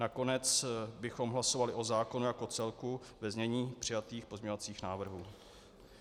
Nakonec bychom hlasovali o zákonu jako celku ve znění přijatých pozměňovacích návrhů.